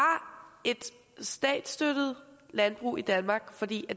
et statsstøttet landbrug i danmark fordi